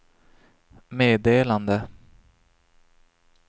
meddelande